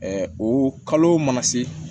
o kalo mana se